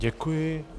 Děkuji.